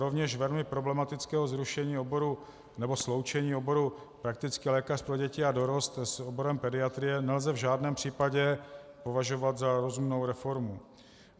Rovněž velmi problematického zrušení oboru nebo sloučení oboru praktický lékař pro děti a dorost s oborem pediatrie nelze v žádném případě považovat za rozumnou reformu.